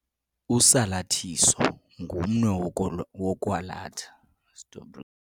Usalathiso ngumnwe wokwalatha.